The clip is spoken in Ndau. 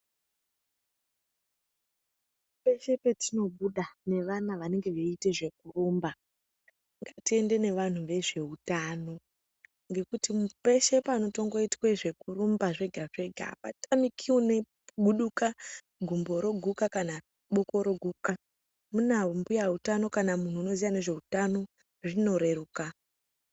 Peshe petinobuda nevana vanenge veite zvekurumba ngatiende nevanhu vezveutano ngekuti peshe panotongoitwe zvekurumba zvga zvega apatamiki unoguduka gumbo roguka kana kuti boko roguka hino kana pana mbuya utano zvinoreruka.